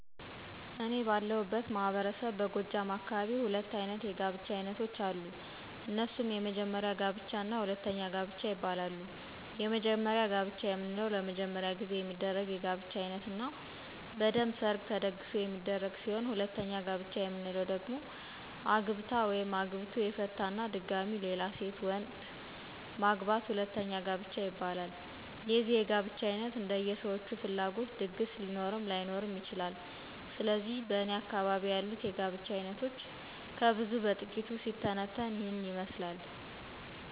እኔ ባለሁበት ማህበረሰብ በጎጃም አካባቢ ሁለት አይነት የጋብቻ አይነቶች አሉ። እነሱም:- የመጀመሪያ ጋብቻ እና ሁለተኛ ጋብቻ ይባላሉ። የመጀመሪያ ጋብቻ የምንለው ለመጀመሪያ ጊዜ የሚደረግ የጋብቻ አይነት እና በደንብ ሠርግ ተደግሶ የሚደረግ ሲሆን ሁለተኛ ጋብቻ የምንለው ደግሞ አግብታ/ቶ/ የፈታ እና ድጋሚ ሌላ ሴት/ወንድ/ማግባት ሁለተኛ ጋብቻ ይባላል። የዚህ የጋብቻ አይነት እንደየ ሠዎቹ ፍላጎት ድግስ ሊኖርም ላይኖርም ይችላል። ስለዚህ በእኔ አካባቢ ያሉት የጋብቻ አይነቶች ከብዙ በጥቂቱ ሲተነተን ይህን ይመስላል።